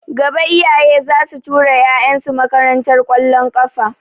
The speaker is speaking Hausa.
Gaba iyaye zasu ta tura ƴaƴan su makarantar ƙwallon kafa